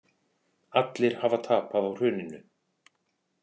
Allir hafi tapað á hruninu